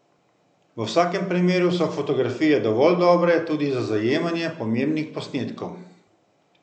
V vsakem primeru so fotografije dovolj dobre tudi za zajemanje pomembnih posnetkov.